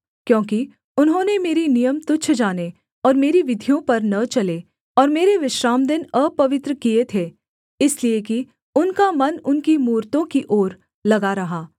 क्योंकि उन्होंने मेरे नियम तुच्छ जाने और मेरी विधियों पर न चले और मेरे विश्रामदिन अपवित्र किए थे इसलिए कि उनका मन उनकी मूरतों की ओर लगा रहा